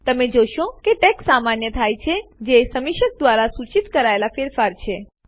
તમે જોશો કે ટેક્સ્ટ સામાન્ય થાય છે જે સમીક્ષક દ્વારા સૂચિત કરાયેલ ફેરફાર છે